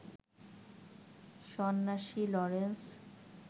সন্ন্যাসী লরেন্স